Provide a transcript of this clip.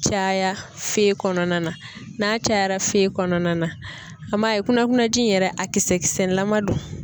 Caya fe kɔnɔna na n'a cayara fe kɔnɔna na an m'a ye kunakuna ji in yɛrɛ a kisɛ kisɛlama do.